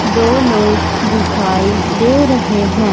दो लोग दिखाई दे रहे हैं।